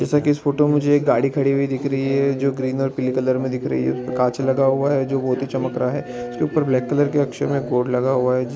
जैसा कि इस फोटो में मुझे गाड़ी खड़ी दिख रही हे जो ग्रीन और पिंक कलर में दिख रही है कांच लगा हुआ है वो भी चमक रहा है उसके उपर ब्लैक कलर के अक्षर में बोर्ड लगा हुआ है।